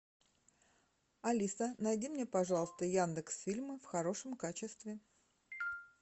алиса найди мне пожалуйста яндекс фильмы в хорошем качестве